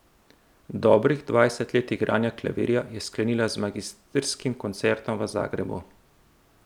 Dobrih dvajset let igranja klavirja je sklenila z magistrskim koncertom v Zagrebu.